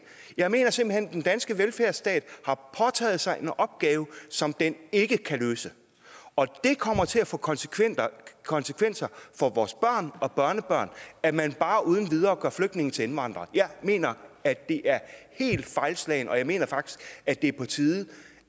jeg mener simpelt hen den danske velfærdsstat har påtaget sig en opgave som den ikke kan løse og det kommer til at få konsekvenser konsekvenser for vores børn og børnebørn at man bare uden videre gør flygtninge til indvandrere jeg mener at det er helt fejlslagent og jeg mener faktisk at det er på tide